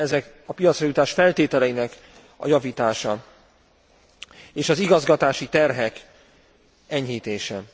Ezek a piacra jutás feltételeinek a javítása és az igazgatási terhek enyhítése.